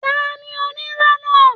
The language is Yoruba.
Tani onírọ́ náà?